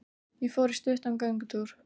Ég fór í stuttan göngutúr.